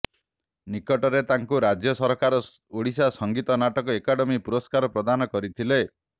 ନିକଟରେ ତାଙ୍କୁ ରାଜ୍ୟ ସରକାର ଓଡ଼ିଶା ସଙ୍ଗୀତ ନାଟକ ଏକାଡେମି ପୁରସ୍କାର ପ୍ରଦାନ କରିଥିଲେ